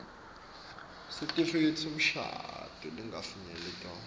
sitifiketi semshado lesingakafinyetwa